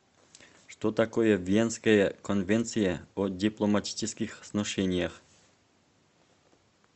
что такое венская конвенция о дипломатических сношениях